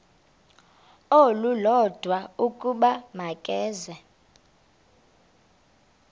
olulodwa ukuba makeze